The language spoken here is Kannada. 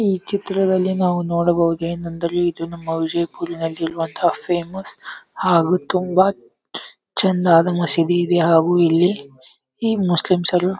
ಈ ಚಿತ್ರದಲ್ಲಿ ನಾವು ನೋಡಬಹುದೇನೆಂದರೆ ಇದು ನಮ್ಮ ವಿಜಯಪುರಿನಲ್ಲಿ ಇರುವಂತಹ ಫೇಮಸ್ ಹಾಗು ತುಂಬಾ ಚಂದಾದ ಮಸೀದಿ ಇದೆ ಹಾಗು ಇಲ್ಲಿಈ ಮುಸ್ಲಿಮ್ಸರು --